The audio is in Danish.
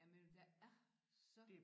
Jamen der er så